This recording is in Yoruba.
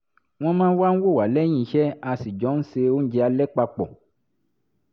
wọ́n wá wò wá lẹ́yìn iṣẹ́ a sì jọ ń se oúnjẹ alẹ́ papọ̀